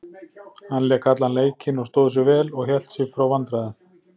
Hann lék allan leikinn og stóð sig vel og hélt sig frá vandræðum.